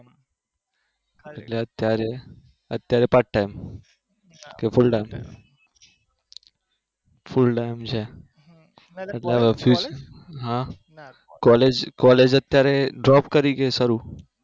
એટલે અત્યારે અત્યારે part time કે full time full time છે એટલે અહીંથી હા college college અત્યારે job કરી કે શરુ